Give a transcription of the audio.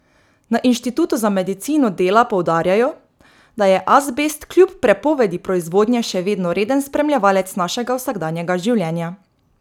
Na inštitutu za medicino dela poudarjajo, da je azbest kljub prepovedi proizvodnje še vedno reden spremljevalec našega vsakdanjega življenja.